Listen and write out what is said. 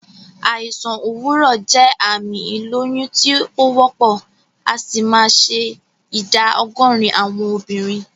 Àìsàn òwúrọ̀ jẹ́ àmì ìlóyún tí o wópò, asì ma se ìdá ogórín àwon obìrin